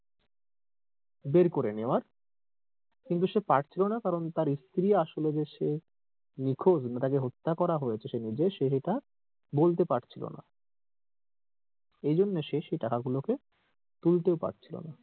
বের করে নেয়ার কিন্তু সে পারছিলোনা কারণ তার স্ত্রী আসলে যে সে নিখোঁজ নাকি তাকে হত্যা করা হয়েছে সে নিজে সে সেটা বলতে পারছিলোনা এই জন্যে সে টাকা গুলোকে তুলতেও পারছিলোনা।